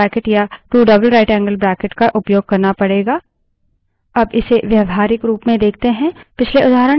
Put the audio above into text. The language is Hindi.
लेकिन error stream को redirect करने के लिए आपको 2> या 2>> का उपयोग करना पड़ेगा